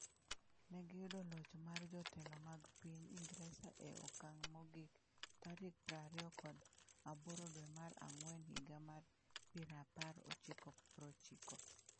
Ne giyudo loch mar jotelo mag piny Ingresa e okang’ mogik tarik prariyokod aboro dwe mar Ang’wen higa mar pira apar ochiko prochiko.